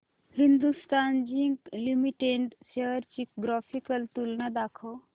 Hindustan zinc limited shares ची graphical तुलना दाखव